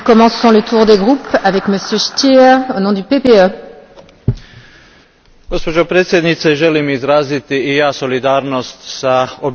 Gospođo predsjednice, želim i ja izraziti solidarnost s obiteljima nestalih studenata, ali i sa svim žrtvama nasilja u Meksiku.